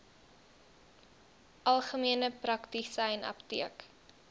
algemene praktisyn apteek